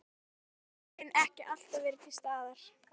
Og værðin ekki alltaf verið til staðar.